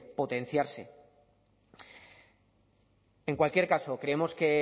potenciarse en cualquier caso creemos que